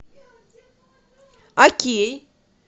окей